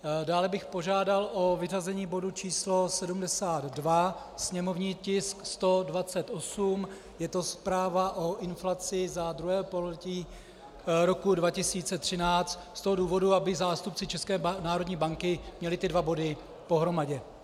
Dále bych požádal o vyřazení bodu číslo 72, sněmovní tisk 128, je to Zpráva o inflaci za II. pololetí roku 2013, z toho důvodu, aby zástupci České národní banky měli ty dva body pohromadě.